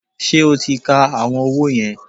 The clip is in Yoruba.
Ṣé o ti ka àwọn owó yẹn?